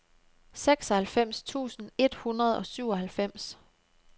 seksoghalvfems tusind et hundrede og syvoghalvfems